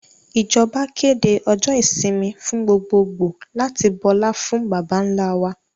Ìjọba kéde ọjọ́ ìsinmi fún gbogbogbòò láti bọlá fún baba ńlá wa